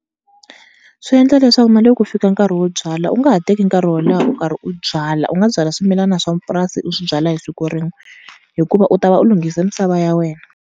Swi endla leswaku na loko ku fika nkarhi wo byala u nga ha teki nkarhi wo leha u karhi u byala, u nga byala swimilana swa purasi u swi byala hi siku rin'we hikuva u ta va u lunghise misava ya wena.